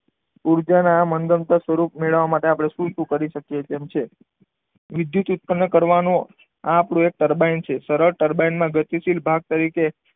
ઊર્જાના મનગમતો સ્વરૂપ મેળવવા માટે આપણે શું શું કરી શકીએ તેમ છે? વિદ્યુત ઉત્પન્ન કરવાનો આપણો એક ટર્બાઇન છે સરળ ટર્બાઇનમાં ગતિશીલ ભાગ તરીકે,